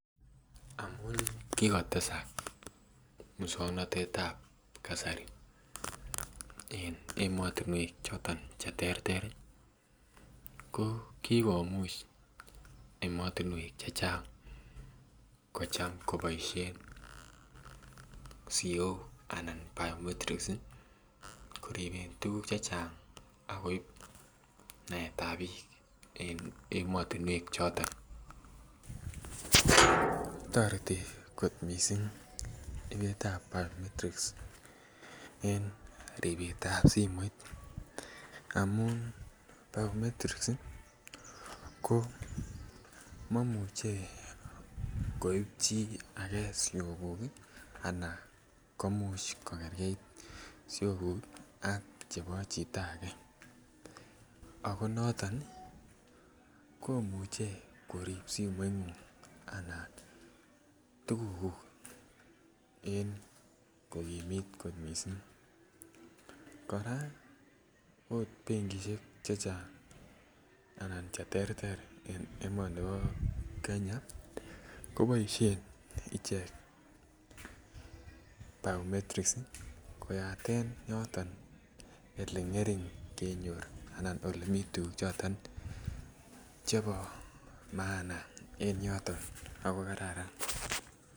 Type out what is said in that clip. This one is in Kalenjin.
Amun kigotesak moswoknatetab kasari en emotinwek Che terter ko ki komuch emotinwek Che Chang kocham koboisien siok anan biometrics koriben tuguk Che Chang akoib naet ab bik en emotinwek choton toreti mising ibetab biometrics en ribetab simoit amun biometrics ko momuche koib chi age sioguk komuch kogergeit sioguk ak chebo chito ago noton komuche korib simoingung anan tugukuk en kogimit kot mising kora okot benkisiek Che Chang anan Che terter en emoni bo Kenya ko boisien icheget biometrics koyaten yoton Ole ngering kenyor anan Ole miten tuguk chebo maana en yoton ago kararan